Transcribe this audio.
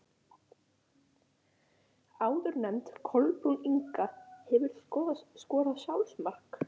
Áðurnefnd Kolbrún Inga Hefurðu skorað sjálfsmark?